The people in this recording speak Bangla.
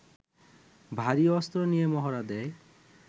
ভারী অস্ত্র নিয়ে মহড়া দেয়